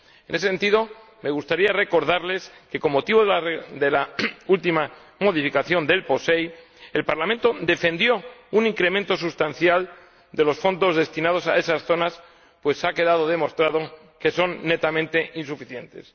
En ese sentido, me gustaría recordarles que, con motivo de la última modificación del POSEI, el Parlamento defendió un incremento sustancial de los fondos destinados a esas zonas, pues ha quedado demostrado que son netamente insuficientes.